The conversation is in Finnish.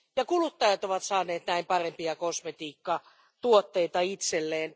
Kuluttajat ovat saaneet näin parempia kosmetiikkatuotteita itselleen.